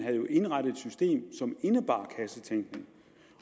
indrettede system som indebar kassetænkning